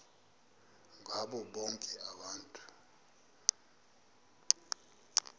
ngabo bonke abantu